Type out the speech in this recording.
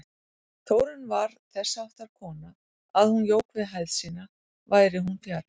Þórunn var þessháttar kona að hún jók við hæð sína væri hún fjarri.